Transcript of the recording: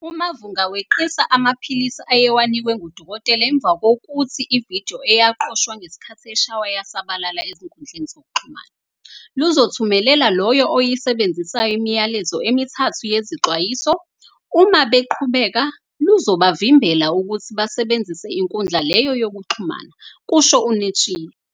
"UMavhunga weqisa amaphilisi ayewanikwe ngudokotela emva kokuthi ividiyo eyaqoshwa ngesikhathi eshaywa yasabalala ezinkundleni zokuxhumana. Luzothumelela loyo oyisebenzisayo imiyalezo emithathu yezixwayiso, uma beqhubeka, luzobavimbela ukuthi basebenzise inkundla leyo yokuxhumana," kusho uNetshiya.